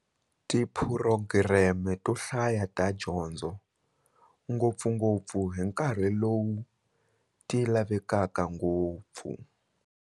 Tiphurogireme to hlaya ta tidyondzo, ngopfungopfu hi nkarhi lowu ti lavekaka ngopfu.